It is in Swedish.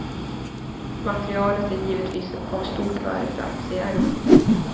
Materialet är givetvis av stort värde för aktieägarna.